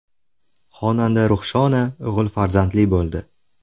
Xonanda Ruxshona o‘g‘il farzandli bo‘ldi.